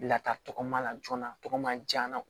Lata tɔgɔ ma joona tɔgɔma diya